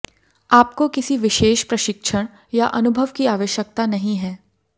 आपको किसी विशेष प्रशिक्षण या अनुभव की आवश्यकता नहीं है